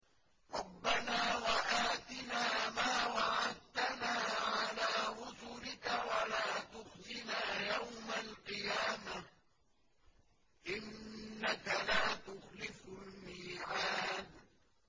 رَبَّنَا وَآتِنَا مَا وَعَدتَّنَا عَلَىٰ رُسُلِكَ وَلَا تُخْزِنَا يَوْمَ الْقِيَامَةِ ۗ إِنَّكَ لَا تُخْلِفُ الْمِيعَادَ